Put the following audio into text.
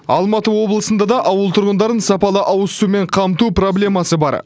алматы облысында да ауыл тұрғындарын сапалы ауызсумен қамту проблемасы бар